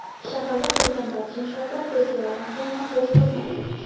Shaharda qurilgan barcha inshootlar festivaldan keyin ham bo‘sh turmaydi.